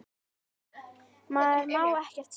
Maður má ekkert segja.